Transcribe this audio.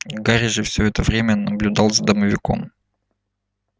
гарри же все это время наблюдал за домовиком